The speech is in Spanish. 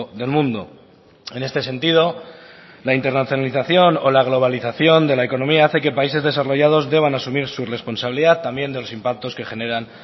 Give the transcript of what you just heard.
del mundo en este sentido la internacionalización o la globalización de la economía hace que países desarrollados deban asumir su responsabilidad también de los impactos que generan